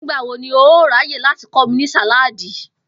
Nígbà wo ni o óò ráyè láti kó̩ mi ní sàláàdi?